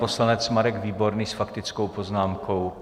Poslanec Marek Výborný s faktickou poznámkou.